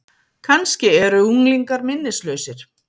Kannski eru unglingar minnislausir?